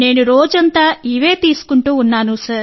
నేను రోజంతా ఇవే తీసుకుంటూ ఉన్నాను